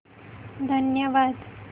धन्यवाद